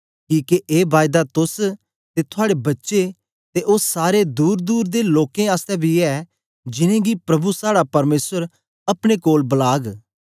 किके ए बायदा तोस ते थुआड़े बच्चे ते ओ सारे दूर दूर दे लोकें आसतै बी ऐ जिनेंगी प्रभु साड़ा परमेसर अपने कोल बलाग